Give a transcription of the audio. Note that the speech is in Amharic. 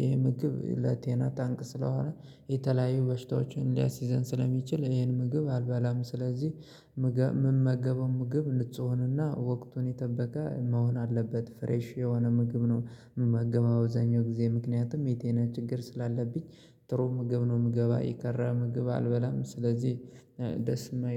ይሄ ምግብ ለጤና ጠንቅ ስለሆነ የተለያዩ በሽታዎችን ሊያስይዘን ስለሚችል ይሄን ምግብ አልባላም። ስለዚህ የምመገበው ምግብ ንጹህ ሆኖና ወቅቱን የጠበቀ መሆን አለበት ፍሬሽ የሆነ ምግብ ነው። የምመገበው በአብዛኛው ጊዜ ምክንያቱም የጤና ችግር ስላለብኝ ጥሩ ምግብ ነው ምበላው። የቀረ ምግብ አልበላም ስለዚህ ደስ የማይል